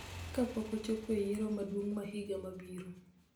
kapok ochopo e Yiero Maduong� ma higa mabiro.